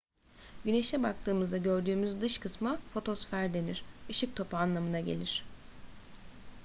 güneşe baktığımızda gördüğümüz dış kısma fotosfer denir ışık topu anlamına gelir